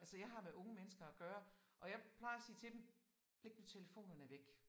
Altså jeg har med unge mennesker at gøre og jeg plejer at sige til dem læg nu telefonerne væk